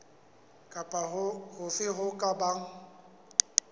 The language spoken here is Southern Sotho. kapa hofe ho ka bang